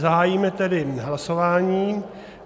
Zahájíme tedy hlasování.